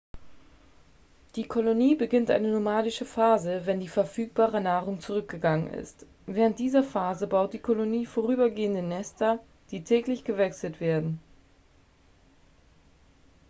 die kolonie beginnt eine nomadische phase wenn die verfügbare nahrung zurückgegangen ist während dieser phase baut die kolonie vorübergehende nester die täglich gewechselt werden